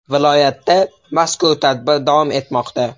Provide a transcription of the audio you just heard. Viloyatda mazkur tadbir davom etmoqda.